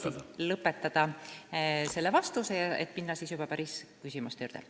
Proovin siis lõpetada vastuse, et minna edasi juba päris küsimuste juurde.